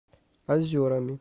озерами